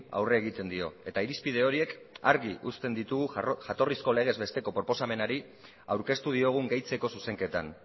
aurre egiten dio eta irizpide horiek argi uzten ditugu jatorrizko legez besteko proposamenari aurkeztu diogun gehitzeko zuzenketan